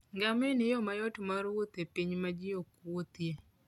Ngamia en yo mayot mar wuoth e piny ma ji ok wuothie.